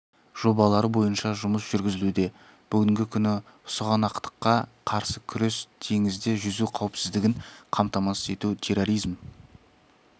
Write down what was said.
жобалары бойынша жұмыс жүргізілуде бүгінгі күні сұғанақтыққа қарсы күрес теңізде жүзу қауіпсіздігін қамтамасыз ету терроризм